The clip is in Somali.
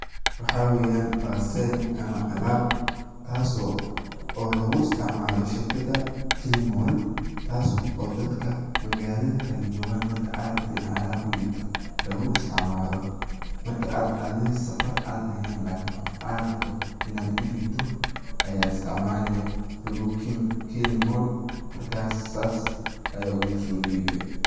Waxaa weyan parcel ama alab taas oo lugu isticmalo shirkada kilimol taaso dadka magalada kale jogaan marka ad rabto in ad alab udhibto loogu isticmaalo marka ad adi safar ad ehen lakiin qof ad rabto inad udhibto aya isticmaale through kilimol, markas sas ayad oguso dhiibe